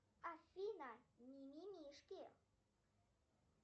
афина мимимишки